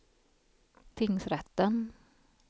tingsrätten